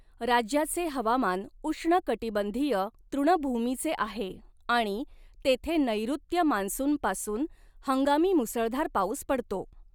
राज्याचे हवामान उष्णकटिबंधीय तृणभूमीचे आहे आणि तेथे नैऋत्य मान्सूनपासून हंगामी मुसळधार पाऊस पडतो.